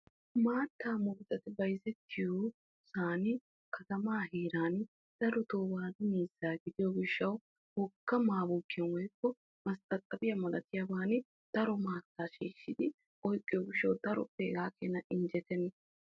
maattaa murutati bayizettiyosan katamaa heeran darotoo waadu miizzaa gidiyo gishshawu wogga mayikaa woyikko mastaxabiya malatiyaagaan daro maattaa shiishshidi oyiqqiyo gishshawu daro hegaa keena injjetenna.